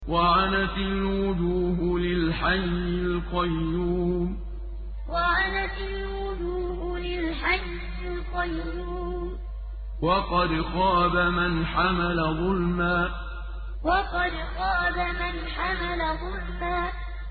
۞ وَعَنَتِ الْوُجُوهُ لِلْحَيِّ الْقَيُّومِ ۖ وَقَدْ خَابَ مَنْ حَمَلَ ظُلْمًا ۞ وَعَنَتِ الْوُجُوهُ لِلْحَيِّ الْقَيُّومِ ۖ وَقَدْ خَابَ مَنْ حَمَلَ ظُلْمًا